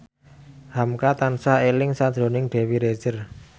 hamka tansah eling sakjroning Dewi Rezer